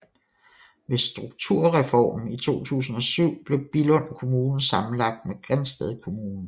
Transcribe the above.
Ved Strukturreformen 2007 blev Billund Kommune sammenlagt med Grindsted Kommune